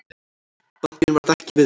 Bankinn varð ekki við því.